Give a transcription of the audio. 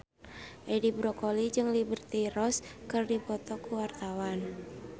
Edi Brokoli jeung Liberty Ross keur dipoto ku wartawan